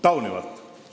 Taunivalt.